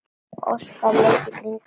Óskar leit í kringum sig.